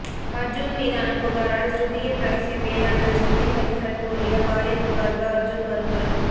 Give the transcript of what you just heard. அர்ஜுன் மீதான புகாரால் ஸ்ருதியின் ரகசியம் வெளியானது ஸ்ருதி ஹரிஹரன் கூறிய பாலியல் புகாருக்கு அர்ஜுன் மறுப்பு